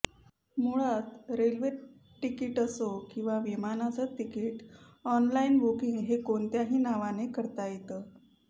मुळात railway ticket असो किंवा विमानाचं तिकीट ऑनलाईन बुकिंग हे कोणत्याही नावाने करता येत